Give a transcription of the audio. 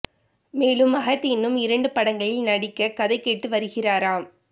மேலும் மகத் இன்னும் இரண்டு படங்களில் நடிக்க கதை கேட்டு வருகிறாராம்